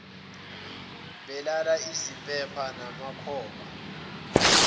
belala izimpepha namakhoba